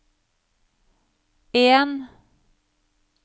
en